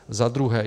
Za druhé.